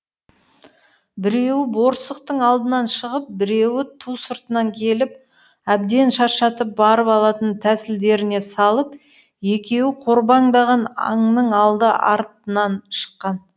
біреуі борсықтың алдынан шығып біреуі ту сыртынан келіп әбден шаршатып барып алатын тәсілдеріне салып екеуі қорбаңдаған аңның алды артынан шыққан